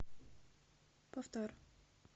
повтор